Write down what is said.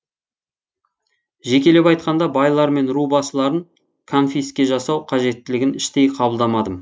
жекелеп айтқанда байлар мен ру басыларын конфиске жасау қажеттілігін іштей қабылдамадым